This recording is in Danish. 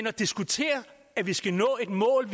at diskutere at vi skal nå et mål